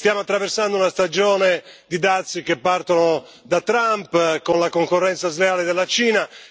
Stiamo attraversando una stagione di dazi che partono da Trump, con la concorrenza sleale della Cina.